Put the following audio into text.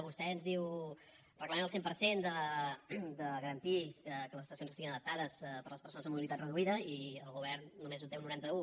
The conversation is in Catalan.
vostè ens diu reclamem el cent per cent de garantir que les estacions estiguin adaptades per a les persones amb mobilitat reduïda i el govern només ho té a un noranta un